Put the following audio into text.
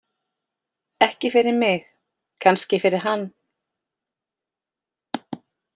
Ekki fyrir mig, kannski fyrir hann.